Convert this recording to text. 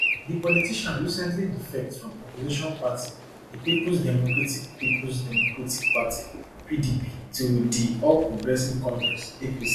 di politician recently defect from opposition party di peoples democratic peoples democratic party pdp to di all progressives congress apc